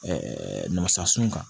nasa sun kan